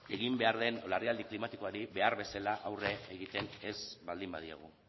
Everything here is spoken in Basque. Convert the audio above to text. egin behar den larrialdi klimatikoari behar bezala aurre egiten ez baldin badiogu